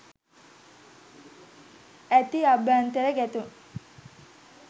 ඇති අභ්‍යන්තර ගැටුම්